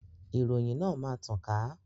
Ìròyìn náà máa tàn ká